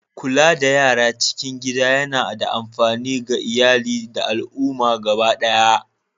Kula da yara a cikin gida yana da amfani ga iyali da al'umma gaba ɗaya.